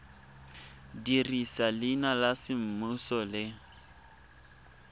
dirisa leina la semmuso le